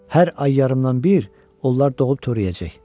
Hər ay yarımdan bir onlar doğub törəyəcək.